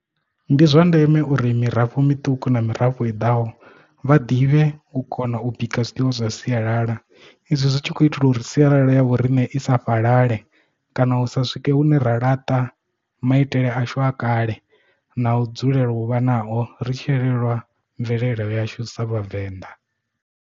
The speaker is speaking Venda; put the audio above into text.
Ndi zwa ndeme uri mirafho miṱuku na mirafho i ḓaho vha ḓivhe u kona u bika zwiḽiwa zwa sialala izwi zwi tshi khou itela uri sialala ya vhoriṋe i sa fhalale kana hu sa swike hune ra laṱa maitele ashu a kale na u dzulela u vha nao ri tshielelwa mvelelo yashu sa vhavenḓa.